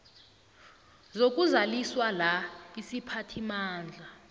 zokudluliswa la isiphathimandla